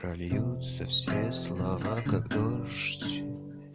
прольются все слова как дождь